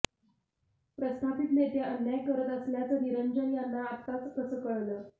प्रस्थापित नेते अन्याय करत असल्याचं निरंजन यांना आताच कसं कळलं